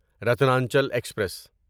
Ratnachal express